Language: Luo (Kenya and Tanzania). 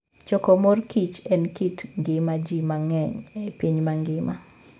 Choko mor kich en kit ngima ji mang'eny e piny mangima.